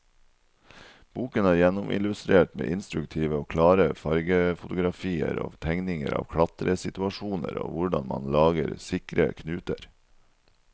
Boken er gjennomillustrert med instruktive og klare fargefotografier og tegninger av klatresituasjoner og hvordan man lager sikre knuter.